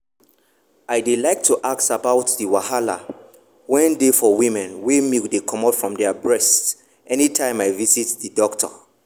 i dey like to ask about the wahala wen dey for women wen milk dey comot from their breast anytime i visit the doctor.